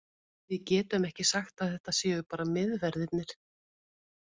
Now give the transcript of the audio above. Við getum ekki sagt að þetta séu bara miðverðirnir.